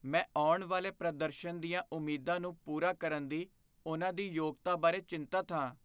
ਮੈਂ ਆਉਣ ਵਾਲੇ ਪ੍ਰਦਰਸ਼ਨ ਦੀਆਂ ਉਮੀਦਾਂ ਨੂੰ ਪੂਰਾ ਕਰਨ ਦੀ ਉਨ੍ਹਾਂ ਦੀ ਯੋਗਤਾ ਬਾਰੇ ਚਿੰਤਤ ਹਾਂ।